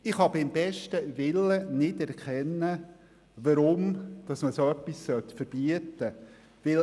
Ich kann beim besten Willen nicht erkennen, warum man das verbieten sollte.